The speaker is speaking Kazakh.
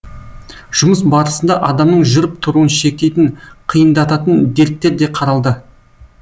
жұмыс барысында адамның жүріп тұруын шектейтін қиындататын дерттер де қаралды